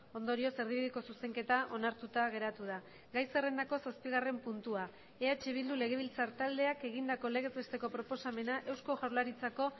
ondorioz erdibideko zuzenketa onartuta geratu da gai zerrendako zazpigarren puntua eh bildu legebiltzar taldeak egindako legez besteko proposamena eusko jaurlaritzako